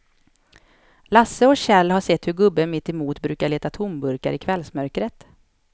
Lasse och Kjell har sett hur gubben mittemot brukar leta tomburkar i kvällsmörkret.